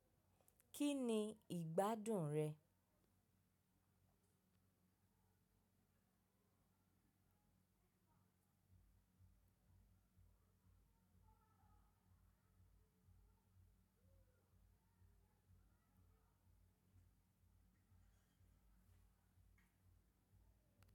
Kí ni ìgbádùn rẹ?